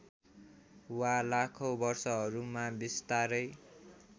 वा लाखौँ वर्षहरूमा बिस्तारै